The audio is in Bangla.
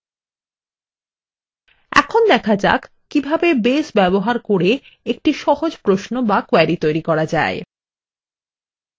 এখন দেখা যাক কিভাবে base ব্যবহার করে একটি সহজ প্রশ্ন বা query তৈরি করা যায়